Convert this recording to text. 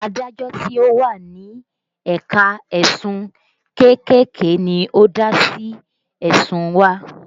Adájọ́ tí ó wà ní ẹ̀ka ẹ̀sùn kéékèèké ni ó dá sí ẹ̀sùn wa